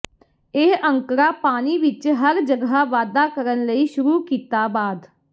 ਇਹ ਅੰਕੜਾ ਪਾਣੀ ਵਿੱਚ ਹਰ ਜਗ੍ਹਾ ਵਾਧਾ ਕਰਨ ਲਈ ਸ਼ੁਰੂ ਕੀਤਾ ਬਾਅਦ